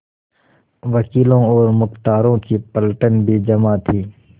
वकीलों और मुख्तारों की पलटन भी जमा थी